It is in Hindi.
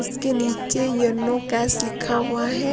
उसके नीचे ये नो कैश लिखा हुआ है।